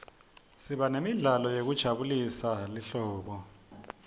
siba nemidlalo yekujabulela lihlobo